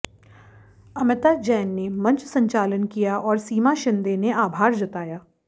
अमिता जैन ने मंच संचालन किया और सीमा शिंदे ने आभार जताया